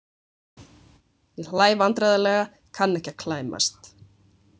Ég hlæ vandræðalega, kann ekki að klæmast.